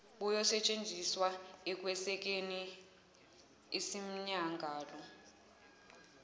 buyosetshenziswa ekwesekeni isimmangalo